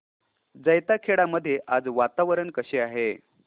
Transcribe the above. जैताखेडा मध्ये आज वातावरण कसे आहे